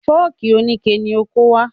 Fọ́ọ̀kì oníke ni o kó wá.